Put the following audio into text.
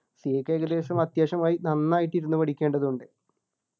CA ക്ക് ഏകദേശം അത്യാവശ്യം നന്നായിട്ട് ഇരുന്നു പഠിക്കേണ്ടതുണ്ട്